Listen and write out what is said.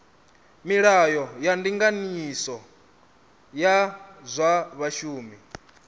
milayo ya ndinganyiso ya zwa vhashumi